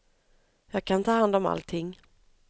Jag kan ta hand om allting.